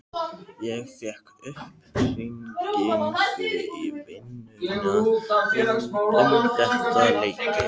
Ég fékk upphringingu í vinnuna um þetta leyti.